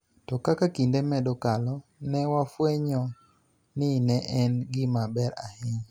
To kaka kinde medo kalo, ne wafwenyo ni ne en gima ber ahinya